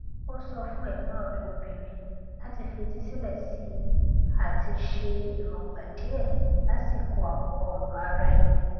ó sọ fún ẹgbọn rẹ obìnrin láti fetísílẹ sí i àti ṣe èròngbà díẹ lásìkò àwọn ọrọ ara ẹni